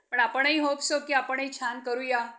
जून इ. स. एकोणीसशे पंधरा पन्नास रोजी त्यानी आत्महत्या केली.